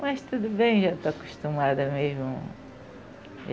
Mas tudo bem, já estou acostumada mesmo.